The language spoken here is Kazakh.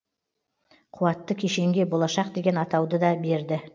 қуатты кешенге болашақ деген атауды да берді